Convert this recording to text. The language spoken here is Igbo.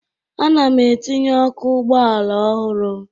Ana m etinye ọkụ ụgbọala ọhụrụ